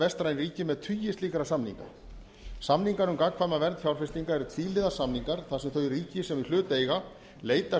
vestræn ríki með tugi slíkra samninga samningar um gagnkvæma vernd fjárfestinga eru tvíhliða samningar þar sem þau ríki sem í hlut eiga leitast